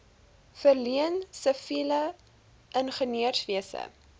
verleen siviele ingenieurswese